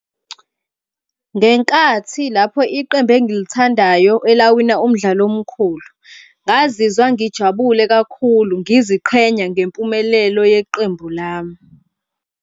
Ngenkathi lapho iqembu engilithandayo elawina umdlalo omkhulu ngazizwa ngijabule kakhulu ngiziqhenya ngempumelelo yeqembu lami.